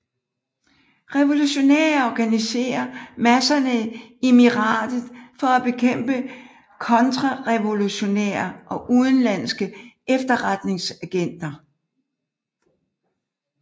Revolutionære organiserer masserne i emiratet for at bekæmpe kontrarevolutionære og udenlandske efterretningsagenter